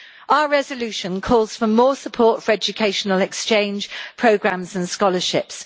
Our resolution calls for more support for educational exchange programmes and scholarships.